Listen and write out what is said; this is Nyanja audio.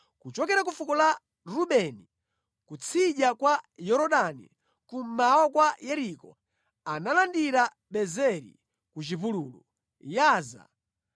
Kuchokera ku fuko la Rubeni kutsidya kwa Yorodani, kummawa kwa Yeriko, analandira Bezeri ku chipululu, Yaza,